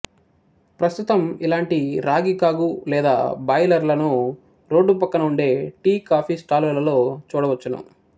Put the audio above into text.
ప్రస్తుతం ఇలాంటీ రాగికాగు లేదా బాయిలరులను రోడ్దుపక్కన వుండే టీకాఫీ స్టాలులలో చూడవచ్చును